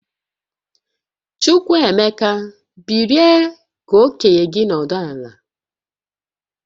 Chukwuemeka, bilie ka okenye gi nọdụ ala!